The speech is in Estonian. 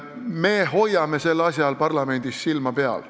Me hoiame sellel asjal parlamendis silma peal.